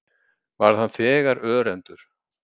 Varð hann þegar örendur.